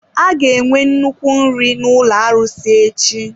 A ga-enwe nnukwu nri n'ụlọ arụsị echi.